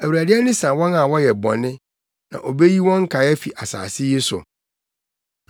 Awurade ani sa wɔn a wɔyɛ bɔne, sɛ obeyi wɔn nkae afi asase yi so.